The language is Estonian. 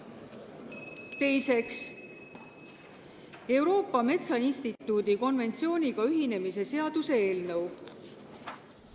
Teiseks, Euroopa Metsainstituudi konventsiooniga ühinemise seaduse eelnõu.